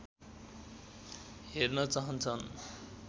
हेर्न चाहन्छन्